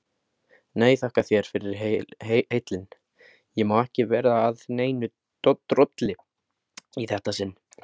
Nei, þakka þér fyrir heillin, ég má ekki vera að neinu drolli í þetta sinn.